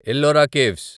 Ellora caves